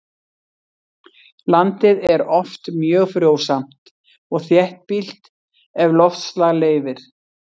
Landið er oft mjög frjósamt og þéttbýlt ef loftslag leyfir.